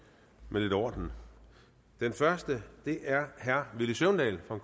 med lidt orden den første er herre villy søvndal for